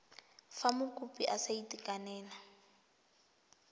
fa mokopi a sa itekanela